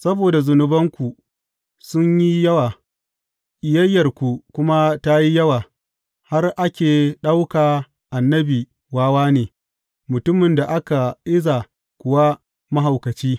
Saboda zunubanku sun yi yawa ƙiyayyarku kuma ta yi yawa, har ake ɗauka annabi wawa ne, mutumin da aka iza kuwa mahaukaci.